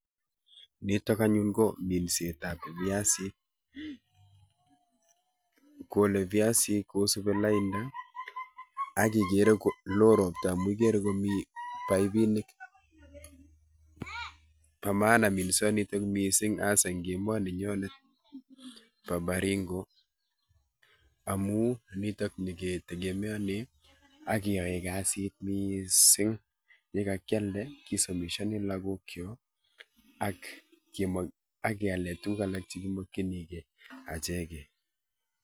Nitok anyun ko minset ab viasikkole viasik kusupi lainda akikere kolo ropta amu ikere komi paipinik bo maana minsoni mising asa eng emet nenyi nebo baringo amu nitok niketegemeane akeyae kasit mising enyekakialde kosomeshani lakokyok ak keale tukuk alak chekimakinikei achekei